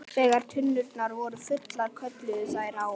Þegar tunnurnar voru fullar kölluðu þær á